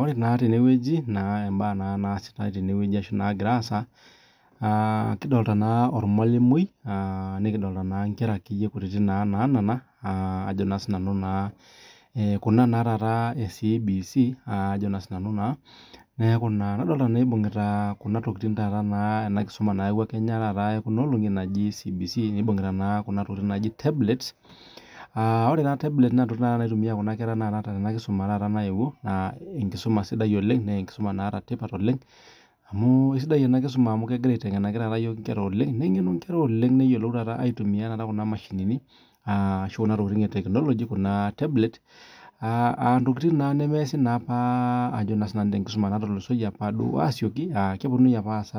ore naa tenewueji mbaa nagira asaa kidolita naa ormalimui nikidolita Nkera kutiti naana Kuna taat CBC nadolita ebung'ita Kuna tokitin ena kisuma nayawuaki naaji CBC nibungita naa Kuna tokitin naaji tablets aa ore taa tablets naa ntokitin naitumia Nkera Tena kisuma nayewuo naa enkisuma sidai oleng amu esidai ena kisuma amu egira aitengenaki iyiok enkera nengenu enkerai oleng neyiolou aitumia Kuna mashini ashu Kuna tokitin etekinoloji Kuna tablet entokitin nemeese apa tenkisuma natulusoyie asioki kepununui apa aas